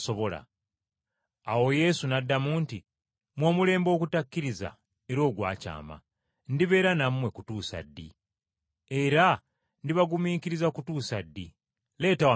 Awo Yesu n’addamu nti, “Mmwe omulembe ogutakkiriza era ogwakyama, ndibeera nammwe kutuusa ddi? Era ndibagumiikiriza kutuusa ddi? Leeta wano omwana wo.”